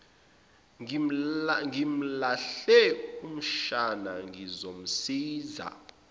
ngimlahle umshana ngizomsiza